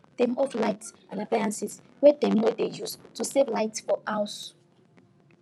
dem off lights and appliances wey dem no dey use to save light for house